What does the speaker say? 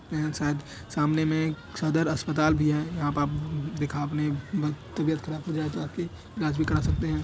यहाँ शायद सामने मे एक सादर अस्पताल भी हैं यहाँ पर आप दिखा आपने बहुत तबीयत ख़राब हो जाए तो आके इलाज भी करा सकते हैं।